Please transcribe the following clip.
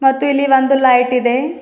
ಮತ್ತು ಇಲ್ಲಿ ಒಂದು ಲೈಟ್ ಇದೆ.